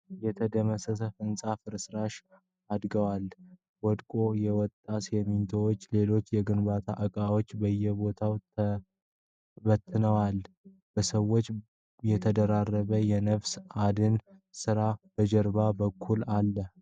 የተደመሰሰ ህንፃ ፍርስራሽ አድገዎል። ወድቆ የወጣ ሲሚንቶና ሌሎች የግንባታ እቃዎች በየቦታው ተበትነዋል። በሰዎች የተደራረበ የነፍስ አድን ስራ በጀርባው በኩል አለ።